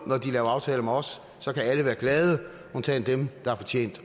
når de laver aftaler med os undtagen dem der har fortjent